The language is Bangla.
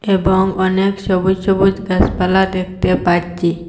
এবং অনেক সবুজ সবুজ গাসপালা দেখতে পাচ্ছি।